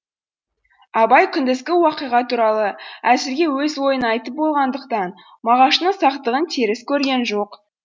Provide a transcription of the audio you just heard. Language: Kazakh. абай күндізгі уақиға туралы әзіргі өз ойын айтып болғандықтан мағаштың сақтығын теріс көрген жоқ